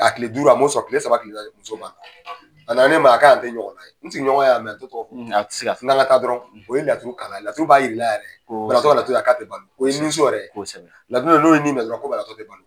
A kile duuru a m'o sɔrɔ kile saba kile naani muso ban na, a na na ne ma k'an tɛ ɲɔgɔn ye n sigiɲɔgɔn y'a mɛn n'an ka taa dɔrɔn o ye laturu k'a la laturu b'a yir'i la yɛrɛ ko o ye ninso yɛrɛ ye laturu dɔ bɛ ye n'o ye nin minɛ dɔrɔn